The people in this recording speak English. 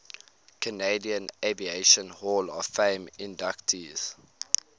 canadian aviation hall of fame inductees